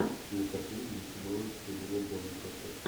кинокартина где снималась хелена бонем картер